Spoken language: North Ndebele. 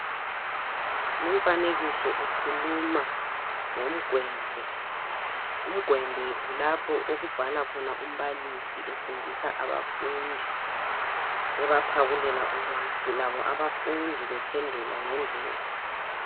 Umfanekiso ukhuluma ngomgwebhe umgwebhe kulapho okubhala khona umbalisi efundisa abafundi ebaphakulela ulwazi labo abafundi bephendula ngendlela.